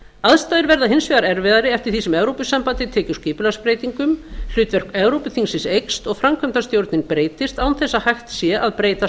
aðstæður verða hins vegar erfiðari eftir því sem evrópusambandið tekur skipulagsbreytingum hlutverk evrópuþingsins eykst og framkvæmdastjórnin breytist án þess að hægt sé að breyta